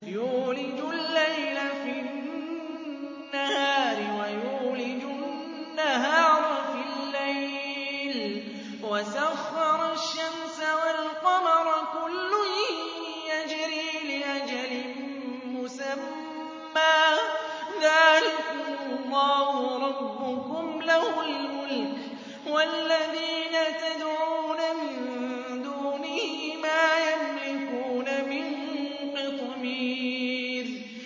يُولِجُ اللَّيْلَ فِي النَّهَارِ وَيُولِجُ النَّهَارَ فِي اللَّيْلِ وَسَخَّرَ الشَّمْسَ وَالْقَمَرَ كُلٌّ يَجْرِي لِأَجَلٍ مُّسَمًّى ۚ ذَٰلِكُمُ اللَّهُ رَبُّكُمْ لَهُ الْمُلْكُ ۚ وَالَّذِينَ تَدْعُونَ مِن دُونِهِ مَا يَمْلِكُونَ مِن قِطْمِيرٍ